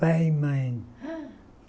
Pai e mãe. Hããh